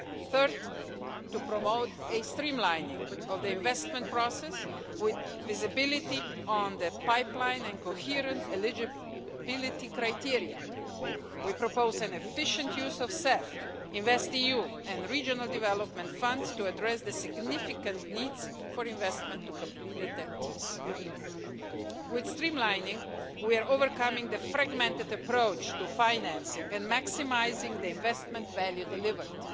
Third, to promote a streamlining of the investment process with visibility on the pipeline and coherent eligibility criteria, we propose an efficient use of CEF, InvestEU and the Regional Development Funds to address the significant needs for investment to complete the TEN Ts. With streamlining we are overcoming the fragmented approach to financing and maximising the investment value delivered.